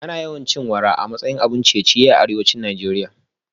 Ana yawan cin wara a matsayin abun ciye-ciye a arewa